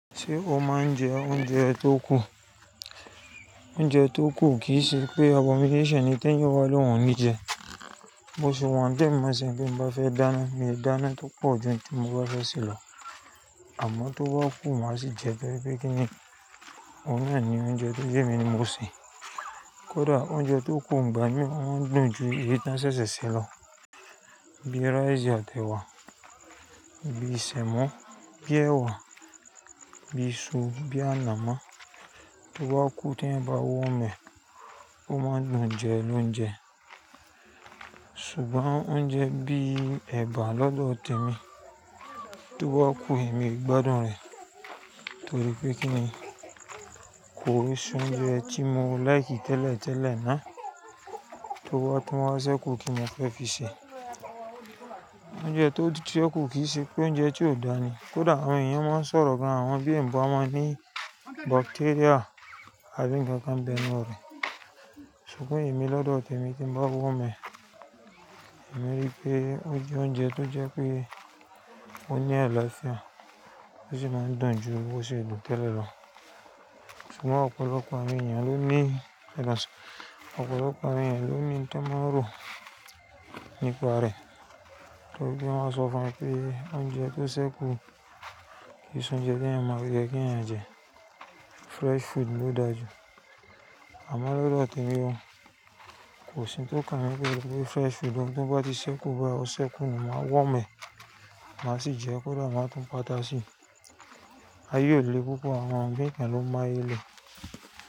Ṣé o máa ń jẹ oúnjẹ tó kù? Oúnjẹ tó kù kì í ṣe pé ewo (abomination) ni, Ti èyàn bàa ni óhùn o ní jẹ. Mo sì wọ́n die, mó sẹ́ bí mo bá fẹ́ dáná, mi dáná tó pọ̀ ju n tí mo bá fẹ́ se lọ. Àmọ́ tó bá kú mo á sì jẹ bẹ́ẹ́ pé kí ni ohun naa ní oúnjẹ tó jẹ́ emi ni mo se. Kódà oúnjẹ tó kù ìgbà mí máa ń dùn ju èyí tí won ṣẹ̀ṣẹ̀ ṣẹ̀ lọ. Bíi rice àti ẹ̀wà, bíi sẹ̀mọ́, bíi ẹ̀wà, bíi iṣu, bíi ànàmọ́. Tó bá kú tí ẹyan bá warm ẹ, ó máa ń dùn jẹ lóúnjẹ. Ṣùgbọ́n oúnjẹ bí ẹ̀bà lọ́dọ̀ tèmi, tó bá kú èmi o gbádùn rẹ̀. Torí pé kíni kò se oúnjẹ tí mo like tẹ́lẹ̀ tẹ́lẹ̀ náà tó bá tun wa ṣẹ́kù kíni mo fẹ́ fi ṣe. Oúnjẹ tó ti ṣẹ́kù kì í ṣe pé oúnjẹ tí ò dáa ní. Kódà àwọn èèyàn máa ń sọ̀rọ̀ gan àwọn bí i ń bá máa ní bacteria abi nkankan bẹ́nu re. Ṣùgbọ́n èmi lọ́dọ̀ tèmi tí mo bá warm ẹ, èmi rí pé ó jẹ oúnjẹ tó jẹ pé ó ní alafia, ó sì máa ń dùn ju bó ṣe dùn tẹ́lẹ̀ lọ. Ṣùgbọ́n ọ̀pọ̀lọpọ̀ àwọn èèyàn ló ní, ọ̀pọ̀lọpọ̀ àwọn èèyàn ló ní to má n rọ̀ nípa rẹ̀. Torí pé wọ́n máa sọ fun pé oúnjẹ tó ṣẹ́kù kì í ṣe oúnjẹ tí ẹyan máa rí to ye kí ẹyan jẹ. Fresh food ló dáa jù. Àmọ́ lọ́dọ̀ tèmi ó, kò sí ohun tó kàn mí pẹ́ fresh food o to bá ti ṣẹ́kù bá ọ ṣẹ́kù nù máa warm ẹ, má sì jẹ ẹ́ kódà máa tún patá sì. Aye ò lè, púpọ̀ àwọn imin kàn ló máyé le.